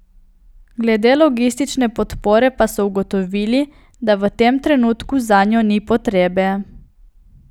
Glede logistične podpore pa so ugotovili, da v tem trenutku zanjo ni potrebe.